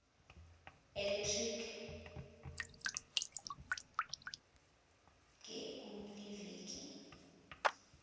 electric ge kuleliviki